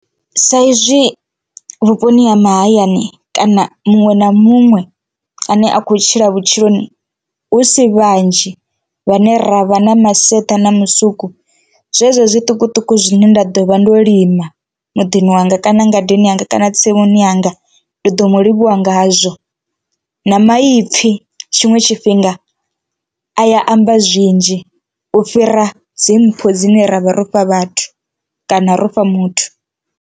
Sa izwi vhuponi ha mahayani kana muṅwe na muṅwe ane a kho tshila vhutshiloni hu si vhanzhi vhane ravha na maseṱa na musuku zwezwo zwiṱukuṱuku zwine nda ḓo vha ndo lima muḓini wanga kana ngadeni yanga kana tsimuni yanga ndi ḓo mu livhuwa ngazwo, na maipfhi tshiṅwe tshifhinga a ya amba zwinzhi u fhira dzi mpho dzine ra vha ro fha vhathu kana ro fha muthu.